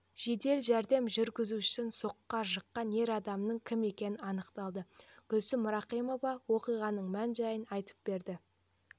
жедел жәрдем жүргізушісін соққыға жыққан ер адамның кім екені анықталды гүлсім рахимова оқиғаның мән-жайын айтып берді